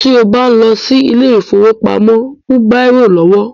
Ti o bá ń lọ sí ilé ìfọwọ́pamo, mú bírò lọ́wọ́.